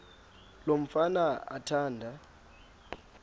lo mfana athanda